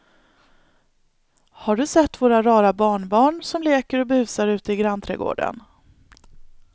Har du sett våra rara barnbarn som leker och busar ute i grannträdgården!